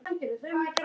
Rís upp af dvala.